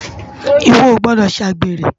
Iwò ó gbòdò sé ágbéré